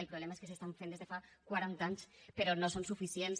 el problema és que s’estan fent des de fa quaranta anys però no són suficients